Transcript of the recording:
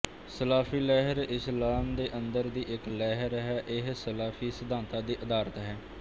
ਸਲਾਫ਼ੀ ਲਹਿਰ ਇਸਲਾਮ ਦੇ ਅੰਦਰ ਦੀ ਇੱਕ ਲਹਿਰ ਹੈ ਇਹ ਸਲਾਫ਼ੀ ਸਿਧਾਂਤਾ ਤੇ ਅਧਾਰਿਤ ਹੈ